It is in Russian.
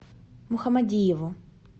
мухамадиеву